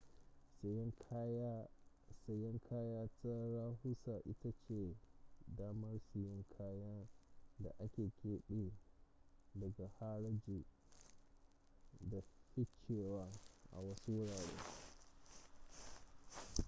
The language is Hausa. sayan kaya ta rahusa ita ce damar siyan kayan da aka kebe daga haraji da fifcewa a wasu wurare